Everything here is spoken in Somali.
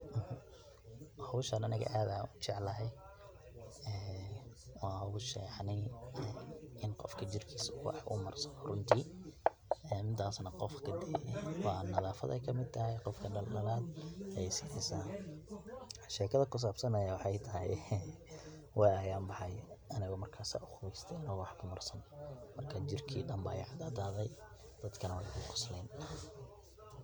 Howshan aniga aad ayan ujeclahay waa hosha yacni inu qofka jirkiis wax u marsado runtii midas na qof dee waa nadaafad ayay kamid tahay qofka dhaldhalal ayay sineysa. sheekada kusabsana aya waxay tahay waa ayan baxay anigo marka saa uqabeyste waxba marsanin marka jirkii dhan ii cadaade dadkana way igu qosleen.